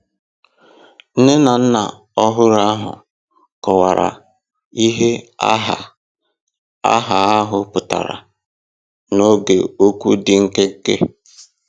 Nne na nna ọhụrụ ahụ kọwara ihe aha aha ahụ pụtara n'oge okwu dị nkenke.